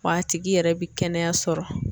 Wa a tigi yɛrɛ bi kɛnɛya sɔrɔ